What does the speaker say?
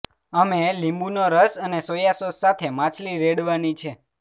અમે લીંબુનો રસ અને સોયા સોસ સાથે માછલી રેડવાની છે